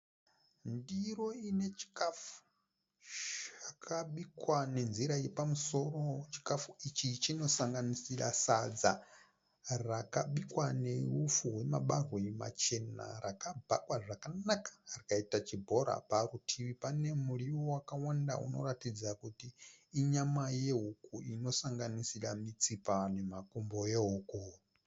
Ndiro ine chikafu chakabikwa nenzira yepamusoro. Chikafu ichi chinosanganisira sadza rakabikwa nehupfu hwemabahwe machena rakabhakwa zvakanaka rikaita chibhora. Parutivi pane muriwo wakawanda unoratidza kuti inyama yehuku inosanganisira mitsipa nemakumbo ehuku.